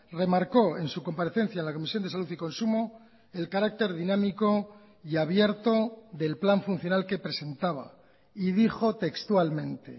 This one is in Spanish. remarcó en su comparecencia en la comisión de salud y consumo el carácter dinámico y abierto del plan funcional que presentaba y dijo textualmente